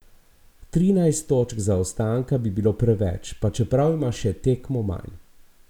Trinajst točk zaostanka bi bilo preveč, pa čeprav ima še tekmo manj.